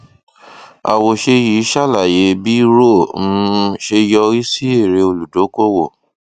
àwòṣe yìí ṣàlàyé bí roe um ṣe yọrí sí èrè olùdókòwò